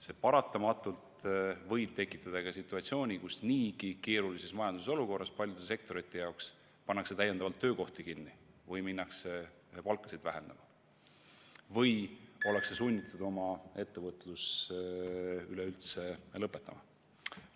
See võib paratamatult tekitada situatsiooni, kus paljude sektorite jaoks niigi keerulises majandusolukorras pannakse täiendavalt töökohti kinni või minnakse palkasid vähendama või ollakse sunnitud oma ettevõtlus üleüldse lõpetama.